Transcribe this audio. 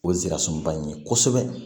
O ye ze ka suman in ye kosɛbɛ